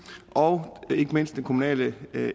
og ikke mindst den kommunale